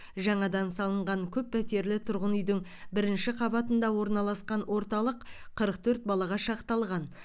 жаңадан салынған көп пәтерлі тұрғын үйдің бірінші қабатында орналасқан орталық қырық төрт балаға шақталған